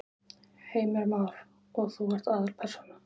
Heimir Már: Og þú ert aðalpersónan?